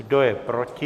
Kdo je proti?